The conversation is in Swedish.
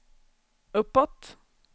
uppåt